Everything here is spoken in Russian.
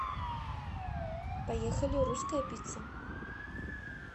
поехали русская пицца